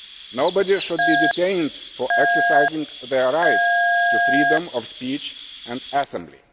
Nobody should be detained for exercising their right to freedom of speech and assembly.